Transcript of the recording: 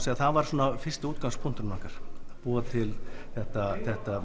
það var fyrsti útgangspunkturinn okkar búa til þetta þetta